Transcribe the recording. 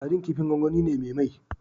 Sadin kifin gwangwani ne me mai